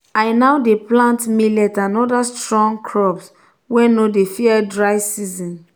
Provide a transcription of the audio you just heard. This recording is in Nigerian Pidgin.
i now dey plant millet and other strong crops wey no dey fear dry season.